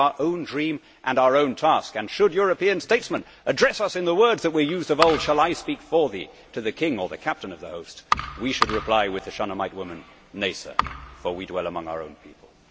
We have our own dream and our own task, and should European statesmen address us in the words that were used of old Shall I speak for thee to the King or the Captain of the Host, we should reply with the Shunamite woman, Nay sir, for we dwell among our own people'.